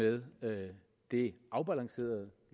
med det afbalancerede